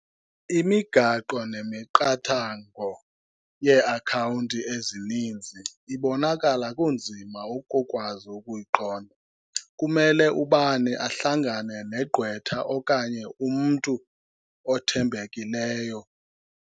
Imigaqo nemiqathango yeeakhawunti ezininzi ibonakala kunzima ukukwazi ukuyiqonda. Kumele ubani ahlangane negqwetha okanye umntu othembekileyo.